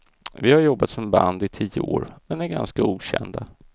Vi har jobbat som band i tio år, men är ganska okända.